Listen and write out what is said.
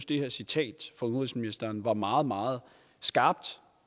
det her citat fra udenrigsministeren var meget meget skarpt